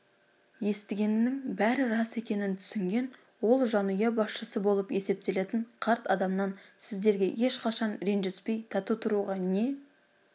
естігенінің бәрі рас екенін түсінген ол жанұя басшысы болып есептелетін қарт адамнан сіздерге ешқашан ренжіспей тату тұруға не